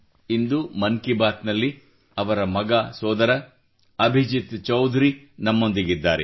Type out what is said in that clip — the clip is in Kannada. ಇಂದು ಮನ್ ಕಿ ಬಾತ್ ನಲ್ಲಿ ಅವರ ಮಗ ಸೋದರ ಅಭಿಜಿತ್ ಚೌಧರಿ ನಮ್ಮೊಂದಿಗಿದ್ದಾರೆ